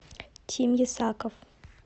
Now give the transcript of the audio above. тим ясаков